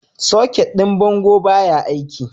Socket ɗin bango baya aiki.